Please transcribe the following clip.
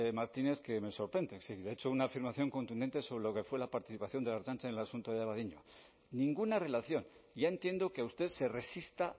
martínez que me sorprende le he hecho una afirmación contundente sobre lo que fue la participación de la ertzaintza en el asunto de abadiño ninguna relación ya entiendo que usted se resista